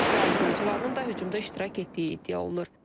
İsrail qırıcılarının da hücumda iştirak etdiyi iddia olunur.